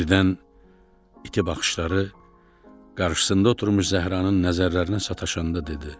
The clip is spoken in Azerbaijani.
Birdən iti baxışları qarşısında oturmuş Zəhranın nəzərlərinə sataşanda dedi: